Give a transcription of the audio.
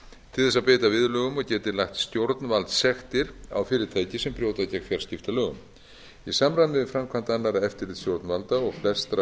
til þess að beita viðurlögum og geti lagt stjórnvaldssektir á fyrirtæki sem brjóta gegn fjarskiptalögum í samræmi við framkvæmd annarra eftirlitsstjórnvalda og flestra